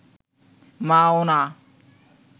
মাও না